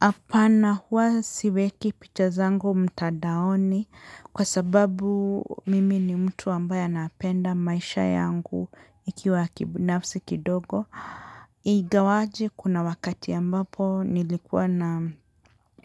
Apana hua siweki picha zangu mtadaoni kwa sababu mimi ni mtu ambaye anapenda maisha yangu ikiwa ya kibinafsi kidogo. Igawaje kuna wakati ambapo nilikuwa na